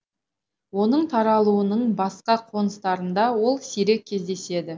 оның таралуының басқа қоныстарында ол сирек кездеседі